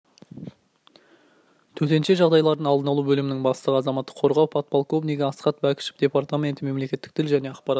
төтенше жағдайлардың алдын алу бөлімінің бастығы азаматтық қорғау подполковнигі асхат бәкішев департаменті мемлекеттік тіл және ақпарат